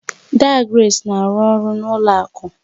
Daa Grace na-arụ ọrụ na ụlọ akụ